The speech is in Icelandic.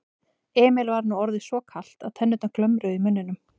Emil var nú orðið svo kalt að tennurnar glömruðu í muninum.